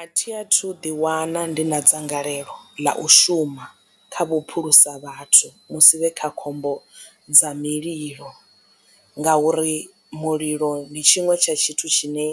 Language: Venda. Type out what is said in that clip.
A thi a thu ḓi wana ndi na dzangalelo ḽa u shuma kha vhuphulusa vhathu musi vhe kha khombo dza mililo ngauri mulilo ndi tshiṅwe tsha tshithu tshine